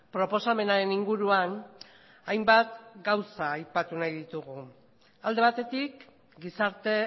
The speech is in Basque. proposamenaren inguruan hainbat gauza aipatu nahi ditugu alde batetik gizarte